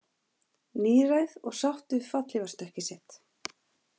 Níræð og sátt við fallhlífarstökkið sitt